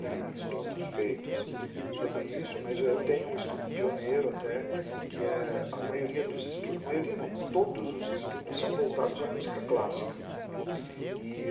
enes estudos feitos sobre isso, mas eu tenho um estudo pioneiro até, que é a maioria dos estudos, a maioria não, todos os estudos são voltados à música clássica.